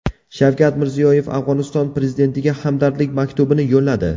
Shavkat Mirziyoyev Afg‘oniston prezidentiga hamdardlik maktubini yo‘lladi.